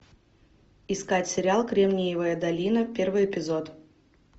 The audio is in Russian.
искать сериал кремниевая долина первый эпизод